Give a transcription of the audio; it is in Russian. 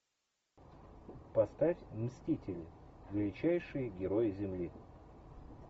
поставь мстители величайшие герои земли